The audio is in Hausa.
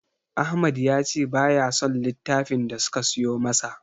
Ahmad ya ce baya son littafin da suka siyo masa.